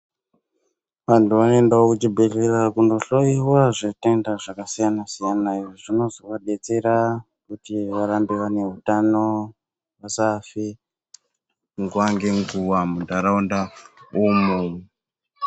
Vantu vanoenda kuchibhedhlera kunohloyiwa zvitenda zvakasiyana siyana zvinozovadetsera kuti varambe vaine utano vasafe nguwa ngenguwa mundaraunda umu.